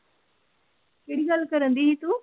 ਕਿਹੜੀ ਗੱਲ ਕਰਨ ਡਇ ਤੋਂ?